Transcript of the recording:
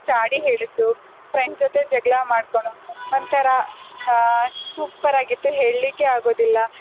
ಚಾಡಿ ಹೇಳಿದ್ಲು, friend ಜೊತೆ ಜಗ್ಳ ಮಾಡ್ಕೊಳ್ಳೋದು ಒಂತರಾ ಆಹ್ super ಆಗಿತ್ತು, ಹೇಳ್ಲಿಕ್ಕೇ ಆಗೋದಿಲ್ಲ.